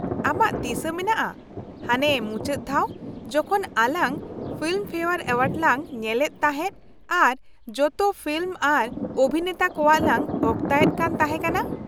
ᱟᱢᱟᱜ ᱫᱤᱥᱟᱹ ᱢᱮᱱᱟᱜᱼᱟ ᱦᱟᱱᱮ ᱢᱩᱪᱟ.ᱫ ᱫᱷᱟᱣ ᱡᱚᱠᱷᱚᱱ ᱟᱞᱟᱝ ᱯᱷᱤᱞᱢ ᱯᱷᱮᱭᱟᱨ ᱮᱣᱟᱨᱰ ᱞᱟᱝ ᱧᱮᱞ ᱮᱫ ᱛᱟᱦᱮᱸᱫ ᱟᱨ ᱡᱚᱛᱚ ᱯᱷᱤᱞᱢ ᱟᱨ ᱚᱵᱷᱤᱱᱮᱛᱟ ᱠᱚᱣᱟᱜ ᱞᱟᱝ ᱚᱠᱛᱟᱭᱮᱫ ᱠᱟᱱ ᱛᱟᱦᱮᱸ ᱠᱟᱱᱟ ᱾